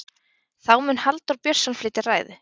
þá mun halldór björnsson flytja ræðu